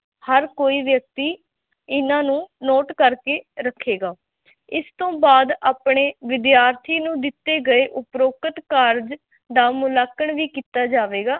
ਹਰ ਕੋਈ ਵਿਅਕਤੀ ਇਹਨਾਂ ਨੂੰ note ਕਰਕੇ ਰੱਖੇਗਾ ਇਸ ਤੋਂ ਬਾਅਦ ਆਪਣੇ ਵਿਦਿਆਰਥੀ ਨੂੰ ਦਿੱਤੇ ਗਏ ਉਪਰੋਕਤ ਕਾਰਜ ਦਾ ਮੁਲਾਂਕਣ ਵੀ ਕੀਤਾ ਜਾਵੇਗਾ।